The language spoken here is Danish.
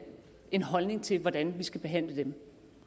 en holdning til hvordan vi skal behandle